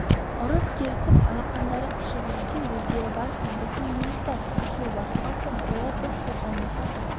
ұрыс керісіп алақандары қышып жүрсе өздері барсын біздің неміз бар ашуы басылған соң қояр біз қозғалмасақ